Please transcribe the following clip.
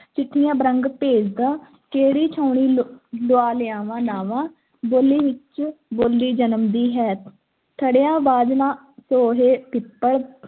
ਚਿੱਠੀਆਂ ਬਰੰਗ ਭੇਜਦਾ, ਕਿਹੜੀ ਛਾਉਣੀ ਲਲੁਆ ਲਿਆਵਾਂ ਨਾਂਵਾਂ, ਬੋਲੀ ਵਿੱਚੋਂ ਬੋਲੀ ਜਨਮਦੀ ਹੈ ਥੜ੍ਹਿਆਂ ਬਾਝ ਨਾ ਸੋਹੇ ਪਿੱਪਲ,